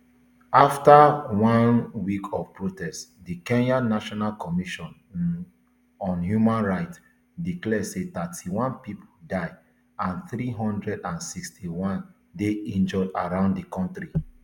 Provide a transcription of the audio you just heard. afta one um week of protests di kenya national commission um on human rights declare say thirty-nine pipo die and three hundred and sixty-one dey injured around di kontri